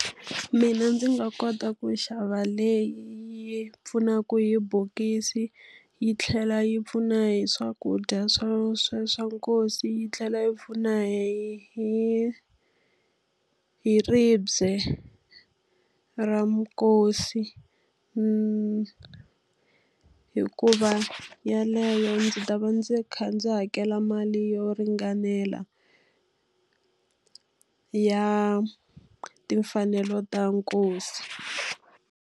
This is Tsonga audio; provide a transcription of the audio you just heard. Mina ndzi nga kota ku xava leyi yi pfunaka hi bokisi, yi tlhela yi pfuna hi swakudya swa sweswi swa nkosi, yi tlhela hi pfuna hi hi ribye ra nkosi. Hikuva yeleyo ndzi ta va ndzi kha ndzi hakela mali yo ringanela ya timfanelo ta nkosi.